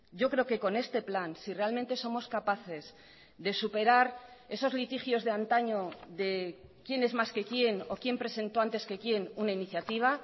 yo creo que con este plan si realmente somos capaces de superar esos litigios de antaño de quién es más que quién o quién presentó antes que quién una iniciativa